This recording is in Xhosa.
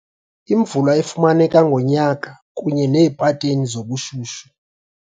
Imozulu, imvula efumaneka ngonyaka kunye neepateni zobushushu.